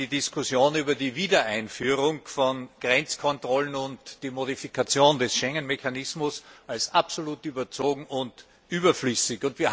Ich halte die Diskussion über die Wiedereinführung von Grenzkontrollen und die Modifikation des Schengen Mechanismus für absolut überzogen und überflüssig.